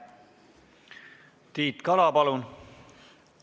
Tiit Kala, palun!